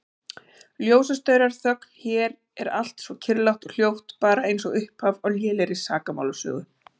Ljósastaurar, þögn, hér er allt svo kyrrlátt og hljótt, bara einsog upphaf á lélegri sakamálasögu.